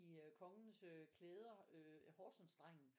I kongens klæder Horsensdrengen